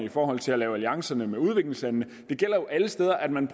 i forhold til at lave alliancer med udviklingslandene det gælder jo alle steder at man